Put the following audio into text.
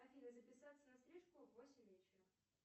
афина записаться на стрижку в восемь вечера